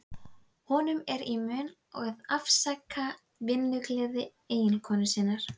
Honum er í mun að afsaka vinnugleði eiginkonu sinnar.